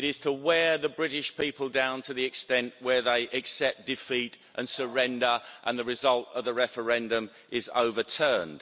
It is to wear the British people down to the extent where they accept defeat and surrender and the result of the referendum is overturned.